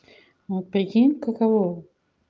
ну прикинь каково